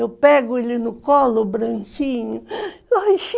Eu pego ele no colo, o branquinho,